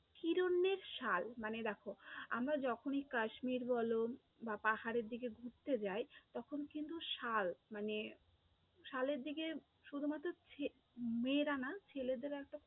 হিরণ্যের শাল মানে দেখো, আমরা যখনই কাশ্মীর বলো বা পাহাড়ের দিকে ঘুরতে যাই তখন কিন্তু শাল মানে শালের দিকে শুধুমাত্র মেয়েরা না ছেলেদেরও একটা